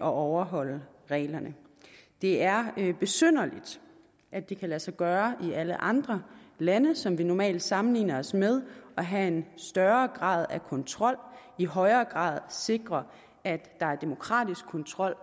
overholde reglerne det er besynderligt at det kan lade sig gøre i alle andre lande som vi normalt sammenligner os med at have en større grad af kontrol og i højere grad sikre at der er demokratisk kontrol